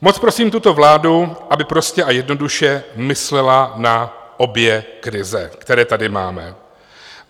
Moc prosím tuto vládu, aby prostě a jednoduše myslela na obě krize, které tady máme.